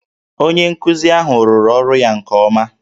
Onye nkuzi ahụ rụrụ ọrụ ya nke ọma